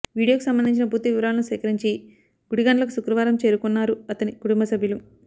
వీడియోకి సంబంధించిన పూర్తివివరాలను సేకరించి గుడిగండ్లకు శుక్రవారం చేరుకున్నారు అతని కటుంబ సభ్యులు